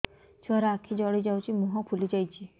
ଛୁଆର ଆଖି ଜଡ଼ି ଯାଉଛି ମୁହଁ ଫୁଲି ଯାଇଛି